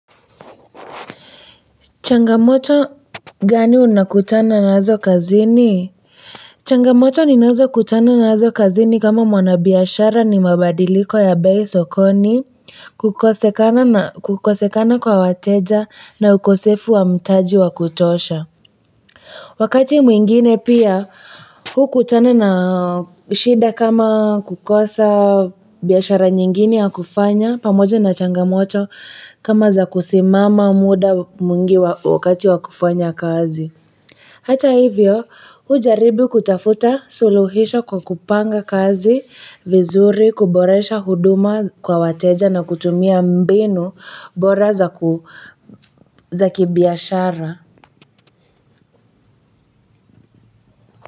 Changamoto gani unakutana nazo kazini? Changamoto ninazokutana nazo kazini kama mwanabiashara ni mabadiliko ya bei sokoni kukosekana kukosekana kwa wateja na ukosefu wa mtaji wa kutosha. Wakati mwingine pia hukutana na shida kama kukosa biashara nyingine ya kufanya pamojo na changamoto kama za kusimama muda mwingi wakati wa kufanya kazi. Hata hivyo hujaribu kutafuta suluhisho kwa kupanga kazi vizuri kuboresha huduma kwa wateja na kutumia mbinu bora za kibiashara.